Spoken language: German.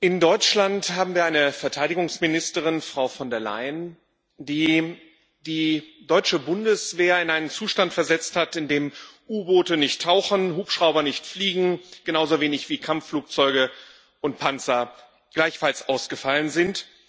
In Deutschland haben wir eine Verteidigungsministerin, Frau von der Leyen, die die deutsche Bundeswehr in einen Zustand versetzt hat, in dem U Boote nicht tauchen, Hubschrauber nicht fliegen, genauso wie Kampfflugzeuge und Panzer ausgefallen sind.